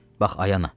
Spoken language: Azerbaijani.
Bax, ay ana.